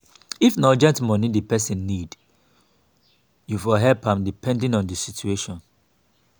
if na urgent money di person need you for help am depending on di situation